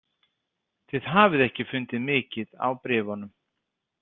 Þið hafið ekki fundið mikið á bréfunum.